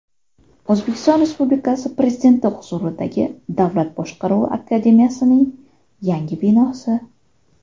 O‘zbekiston Respublikasi Prezidenti huzuridagi Davlat boshqaruvi akademiyasining yangi binosi.